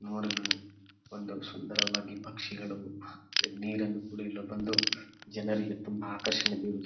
ನೋಡಲು ಒಂದು ಸುಂದರವಾಗಿ ಪಕ್ಷಿಗಳು ನೀರನ್ನು ಕುಡಿಯಲು ಬಂದು ಜನರಿಗೆ ತುಂಬಾ ಆಕರ್ಷಣೆ ಬಿರು --